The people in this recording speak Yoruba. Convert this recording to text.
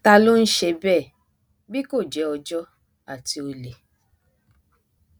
ta ló ń ṣe bẹẹ bí kò jẹ ọjọ àti olè